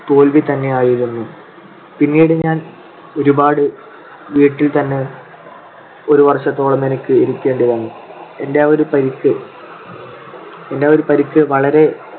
തോൽവിതന്നെയായിരുന്നു. പിന്നീട് ഞാൻ ഒരുപാട് വീട്ടിൽ തന്നെ ഒരു വർഷത്തോളം എനിക്ക് ഇരിക്കേണ്ടിവന്നു. എന്റെ ആ ഒരു പരിക്ക് എന്റെ ആ ഒരു പരിക്ക് വളരെ